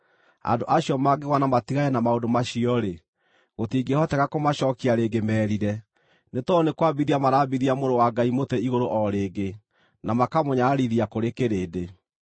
andũ acio mangĩgũa na matigane na maũndũ macio-rĩ, gũtingĩhoteka kũmacookia rĩngĩ merire, nĩ tondũ nĩ kwambithia marambithia Mũrũ wa Ngai mũtĩ igũrũ o rĩngĩ, na makamũnyararithia kũrĩ kĩrĩndĩ.